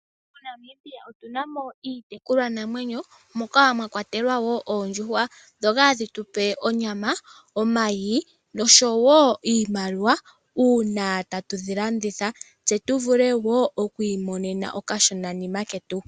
MoNamibia otuna mo iitekulwanamwenyo moka mwa kwatelwa wo oondjuhwa, dhoka hadhi tupe onyama, omayi noshowo iimaliwa uuna tatu dhi landitha. Tse tu vule wo okwiimonena okashonanima ketu.